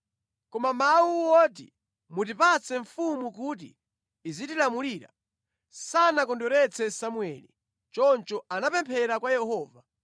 Koma mawu oti, “Mutipatse mfumu kuti izitilamulira,” sanakondweretse Samueli. Choncho anapemphera kwa Yehova.